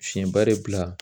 Fiɲɛba de bila